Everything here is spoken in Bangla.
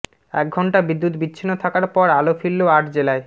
এক ঘণ্টা বিদ্যুৎ বিচ্ছিন্ন থাকার পর আলো ফিরল আট জেলায়